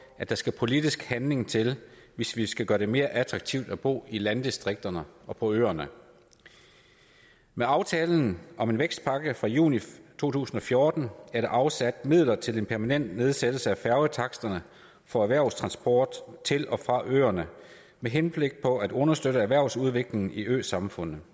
at der skal politisk handling til hvis vi skal gøre det mere attraktivt at bo i landdistrikterne og på øerne med aftalen om en vækstpakke fra juni to tusind og fjorten er der afsat midler til en permanent nedsættelse af færgetaksterne for erhvervstransport til og fra øerne med henblik på at understøtte erhvervsudviklingen i øsamfundene